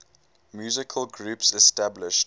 musical groups established